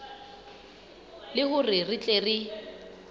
le hore re tle re